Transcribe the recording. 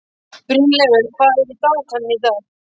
Brynleifur, hvað er í dagatalinu í dag?